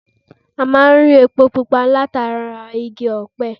A máa ń rí epo pupa látara Igi ọ̀pẹ